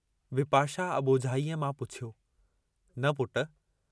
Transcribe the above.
विपाशा अबोझाईअ मां पुछियो, न पुट!